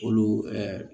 Olu ɛɛ